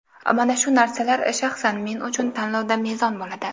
Mana shu narsalar shaxsan men uchun tanlovda mezon bo‘ladi.